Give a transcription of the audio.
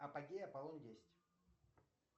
апогей аполлон десять